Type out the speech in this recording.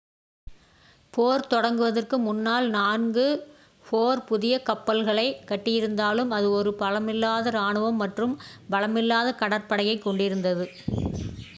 போர் தொடங்குவதற்கு முன்னால் நான்கு four புதிய கப்பல்களைக் கட்டியிருந்தாலும் அது ஒரு பலமில்லாத ராணுவம் மற்றும் பலமில்லாத கடற்படையையே கொண்டிருந்தது